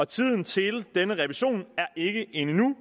tiden til denne revision er ikke endnu